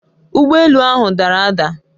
Ugbọ elu ahụ dara ada